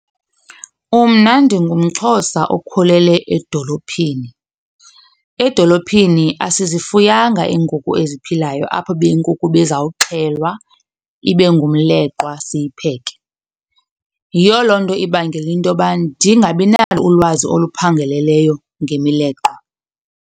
Mna ndingumXhosa okhulele edolophini. Edolophini asizifuyanga iinkukhu eziphilayo apho ube inkukhu ibizawuxhelwa ibe ngumleqwa siyipheke. Yiyo loo nto ibangela into yoba ndingabi nalo ulwazi oluphangaleleyo ngemileqwa.